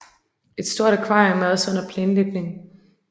Et stort akvarium er også under planlægning